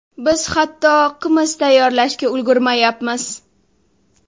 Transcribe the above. Biz hatto qimiz tayyorlashga ulgurmayapmiz.